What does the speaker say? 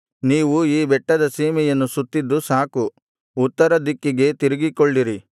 ನೀವು ಈ ಬೆಟ್ಟದ ಸೀಮೆಯನ್ನು ಸುತ್ತಿದ್ದು ಸಾಕು ಉತ್ತರದಿಕ್ಕಿಗೆ ತಿರುಗಿಕೊಳ್ಳಿರಿ